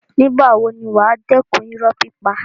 Nígbà wo ni wà á dẹ́kun irọ́ pípa.